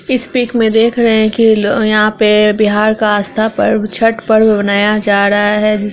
इस पिक मे देख रहे हैं कि ल यहां पे बिहार का आस्था पर्व छठ पर्व मनाया जा रहा है। जिस--